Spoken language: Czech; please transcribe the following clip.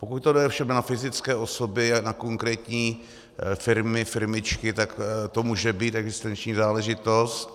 Pokud to jde ovšem na fyzické osoby a na konkrétní firmy, firmičky, tak to může být existenční záležitost.